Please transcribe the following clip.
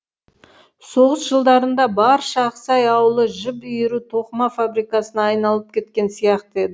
соғыс жылдарында барша ақсай ауылы жіп иіру тоқыма фабрикасына айналып кеткен сияқты еді